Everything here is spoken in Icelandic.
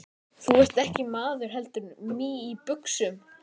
Þú ert ekki maður heldur mý í buxum.